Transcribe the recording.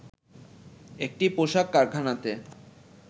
একটি পোশাক কারখানাতে